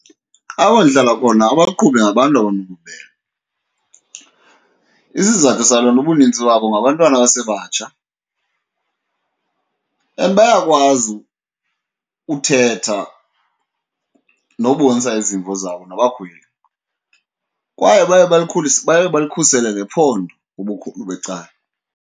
Apho ndihlala khona abaqhubi ngabantu abanobubele. Isizathu saloo nto ubunintsi babo ngabantwana abasebatsha and bayakwazi uthetha nobonisa izimvo zabo nabakhweli, kwaye baye balikhusele nephondo ubukhulu becala.